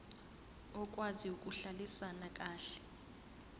okwazi ukuhlalisana kahle